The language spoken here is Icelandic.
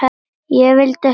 Ég vildi ekki deyja.